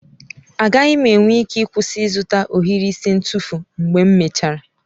Agaghị m enwe ike ịkwụsị ịzụta ohiri isi ntufu mgbe m mechara.